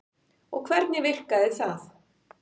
Og hvernig virkar það?